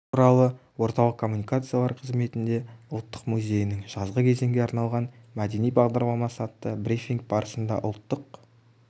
туралы орталық коммуникациялар қызметінде ұлттық музейінің жазғы кезеңге арналған мәдени бағдарламасы атты брифинг барысында ұлттық